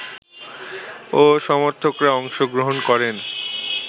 ও সমর্থকরা অংশ গ্রহণ করেন